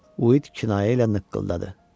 Uit kinayə ilə nıqqılladı.